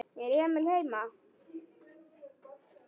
Er Emil heima?